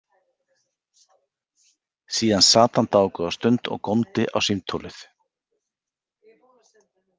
Síðan sat hann dágóða stund og góndi á símtólið.